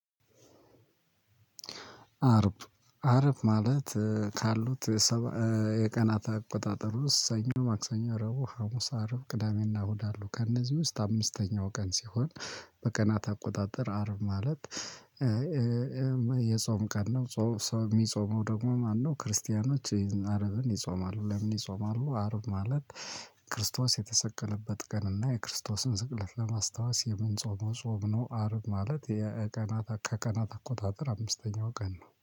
አርብ አርብ ማለት ካሉት የቀናት አቆጣጠር ውስጥ ሰኞ ማክሰኞ ረቡዕ ሀሙስ አርብ ቅዳሜና እሁድ አሉ ከእነዚህ ውስጥ አምስተኛው ቀን ሲሆን በቀናት አቆጣጠር አርብ ማለት የጾም ቀን ነው የሚጾመው ደግሞ ማነው ክርስቲያኖች አርብን ይጾማሉ። ለምን ይጾማሉ አረብ ማለት ክርስቶስ የተሰቀለበት ቀን እና የክርስቶስን ስቅለት ለማስታወስ የምንጾመው ጾም ነው አርብ ማለት ከቀናት አቆጣጠር አምስተኛው ቀን ነው።